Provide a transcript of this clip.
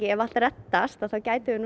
ef allt reddast þá gætum við